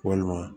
Walima